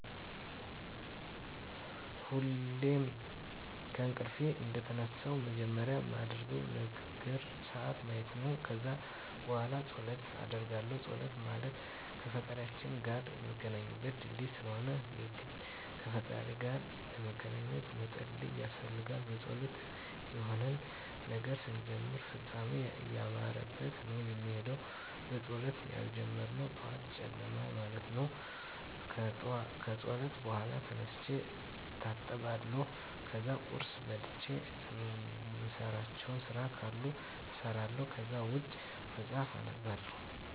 ሁሌም ከእንቅልፌ እንደተነሳሁ መጀመሪያ ማደርገው ነገር ስዓት ማየት ነው። ከዛ በኋላ ፀሎት አደርጋለሁ ፀሎት ማለት ከፈጣሪያችን ጋር ምንገናኝበት ድልድይ ስለሆነ የግድ ከፈጣሪ ጋር ለመገናኜት መፀለይ ያስፈልጋል። በፀሎት የሆነን ነገር ስንጀምር ፍፃሜው እያማረበት ነው ሚሄደው በፀሎት ያልተጀመረ ጠዋት ጨለማ ማለት ነው። ከፀሎት በኋላ ተነስቼ እታጠባለሁ ከዛ ቁርስ በልቼ እምሰራቸው ስራ ካሉኝ እሰራለሁ ከዛ ውጭ መፅሐፍ አነባለሁ።